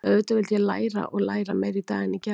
Auðvitað vildi ég læra og læra, meira í dag en í gær.